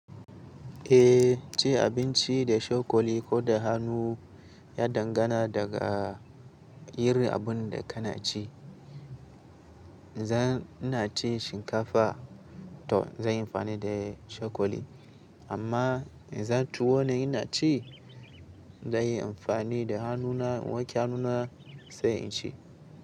Eh, ci abinci da cokali ko da hannu ya dangana daga irin abun da kana ci. In zan, ina ci shinkafa to zan yi amfani da cokali. Amma in dan tuwo ne ina ci, zan yi amfani da hannuna, wanke hannuna sai in ci.